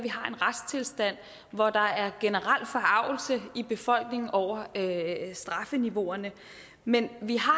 retstilstand hvor der er generel forargelse i befolkningen over strafniveauerne men vi har